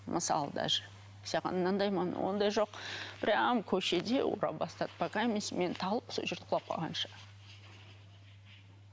мысалы даже саған мынандай ондай жоқ прямо көшеде ұра бастады мен талып сол жерде құлап қалғанша